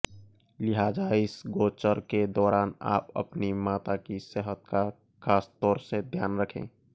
लिहाज़ा इस गोचर के दौरान आप अपनी माता की सेहत का खासतौर से ध्यान रखें